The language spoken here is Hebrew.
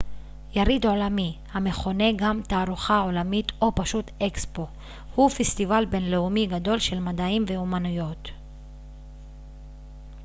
יריד עולמי המכונה גם תערוכה עולמית או פשוט אקספו הוא פסטיבל בינלאומי גדול של מדעים ואמנויות